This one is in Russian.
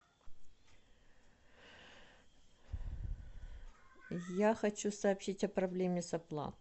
я хочу сообщить о проблеме с оплатой